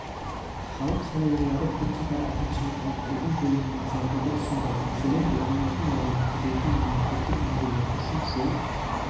халық қалаулылары бірқатар әкімшілік айыппұлдың көлемін азайтуды ұсынды мәселен оқылмайтын яғни кірлеген мемлекеттік нөмірлер үшін жол